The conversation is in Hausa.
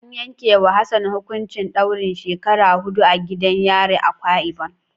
An yanke wa Hassan hukuncin daurin shekara hidu a gidan yarin Akwa ibom.